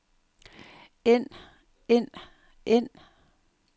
end end end